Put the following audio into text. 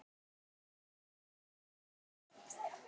Þorsteina, hvaða dagur er í dag?